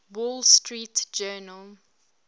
wall street journal